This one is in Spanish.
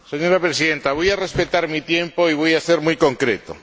Señora Presidenta, voy a respetar mi tiempo y voy a ser muy concreto.